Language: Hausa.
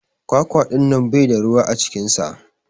kwakwa dinnan Bai da ruwa a cikinsa.